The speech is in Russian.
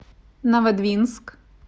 новодвинск